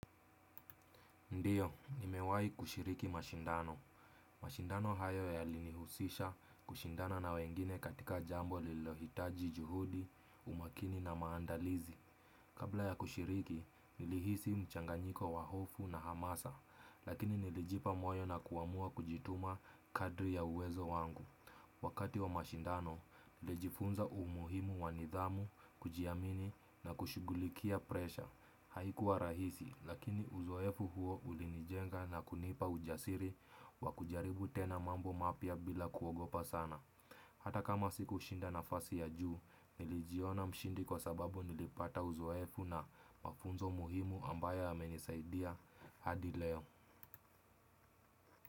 Ndiyo, nimewahi kushiriki mashindano. Mashindano hayo yalinihusisha kushindana na wengine katika jambo lililohitaji juhudi, umakini na maandalizi. Kabla ya kushiriki, nilihisi mchanganyiko wa hofu na hamasa, lakini nilijipa moyo na kuamua kujituma kadiri ya uwezo wangu. Wakati wa mashindano, nilijifunza umuhimu wa nidhamu, kujiamini na kushughulikia presha. Haikuwa rahisi, lakini uzoefu huo ulinijenga na kunipa ujasiri wa kujaribu tena mambo mapya bila kuogopa sana. Hata kama sikushinda nafasi ya juu, nilijiona mshindi kwa sababu nilipata uzoefu na mafunzo muhimu ambayo yamenisaidia hadi leo.